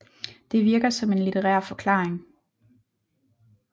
Det virker som en litterær forklaring